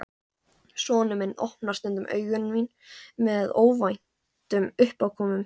Sonur minn opnar stundum augu mín með óvæntum uppákomum.